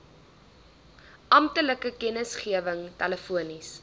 amptelike kennisgewing telefonies